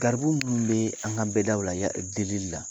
Garibu mun bɛ an ka bɛɛdaw la; delili la